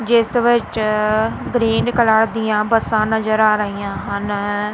ਜਿਸ ਵਿੱਚ green colour ਦੀਆਂ ਬੱਸਾਂ ਨਜ਼ਰ ਆ ਰਹੀਆਂ ਹਨ।